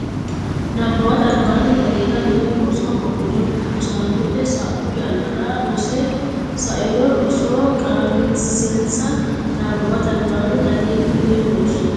Nabbawate Albaanni daqiiqa Mini loosi hoogiro rosaanote sa u yannara rosse sa ino roso qaagisinsa Nabbawate Albaanni daqiiqa Mini loosi.